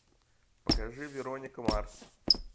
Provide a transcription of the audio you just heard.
покажи вероника марс